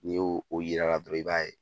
N'i ye o yira la i b'a ye